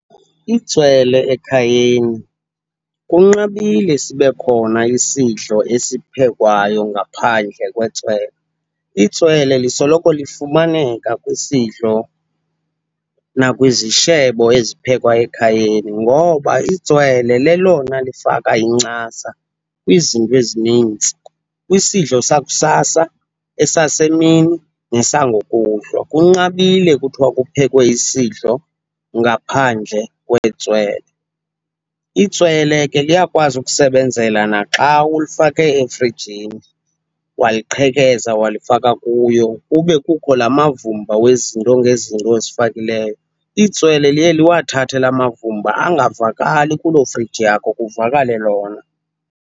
Itswele ekhayeni kunqabile sibe khona isidlo esiphekwayo ngaphandle kwetswele. Itswele lisoloko lifumaneka kwisidlo nakwizishebo eziphekwa ekhayeni ngoba itswele lelona lifaka incasa kwizinto ezinintsi, kwisidlo sakusasa, esasemini nesangokuhlwa. Kunqabile kuthiwa kuphekwe isidlo ngaphandle kwetswele. Itswele ke liyakwazi ukusebenzela naxa ulufake efrijini waliqhekeza walifaka kuyo kube kukho la mavumba wezinto ngezinto ozifakileyo. Itswele liye liwathathe laa mavumba angavakali kuloo friji yakho, kuvakale lona.